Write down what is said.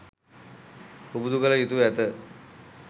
පුබුදු කළ යුතුව ඇත.